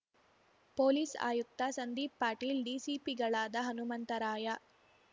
police ಆಯುಕ್ತ ಸಂದೀಪ್ ಪಾಟೀಲ್ ಡಿಸಿಪಿಗಳಾದ ಹನುಮಂತರಾಯ